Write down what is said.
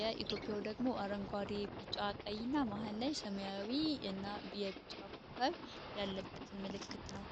የኢቶዮፕያው ደግሞ አረንጓዴ ቢጫ ቀይ እና ማህን ላይ ሰማያዊ እና የብቻ ኮከብ ያለበት ምልክት ነው